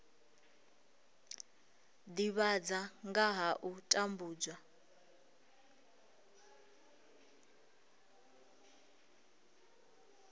divhadza nga ha u tambudzwa